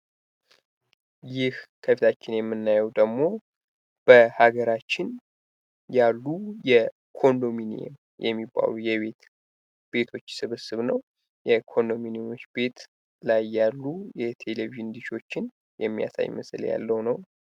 ይህ ከታች የምናየው ደግሞ በሃገራችን ያሉ የኮንዶሚኒየም የሚባሉ የቤቶች ስብስብ ነው። የኮንዶሚኒየም ቤት ላይ ያሉ የቴሌቪዥን ዲሾችን የሚያሳይ ምስል ያለው ነው።